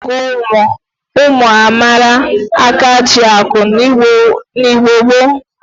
A na-eji ọnụọgụgụ ụmụ a mara akajiakụ n'Igbo gboo.